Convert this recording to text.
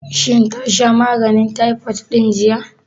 Shin ta sha maganin taifot ɗin jiya?